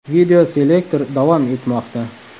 Videoselektor davom etmoqda.